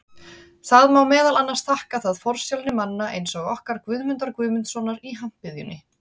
Það má meðal annars þakka það forsjálni manna eins og okkar Guðmundar Guðmundssonar í Hampiðjunni.